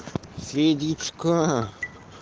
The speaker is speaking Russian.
федичка